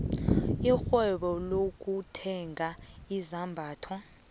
irhwebo lokuthenga izambatho